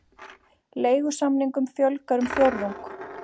Leigusamningum fjölgar um fjórðung